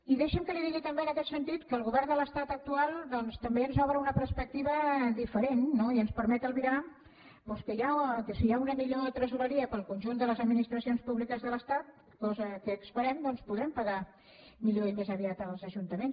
i deixi’m que li digui també en aquest sentit que el govern de l’estat actual doncs també ens obre una perspectiva diferent no i ens permet albirar que si hi ha una millor tresoreria per al conjunt de les administracions públiques de l’estat cosa que esperem podrem pagar millor i més aviat als ajuntaments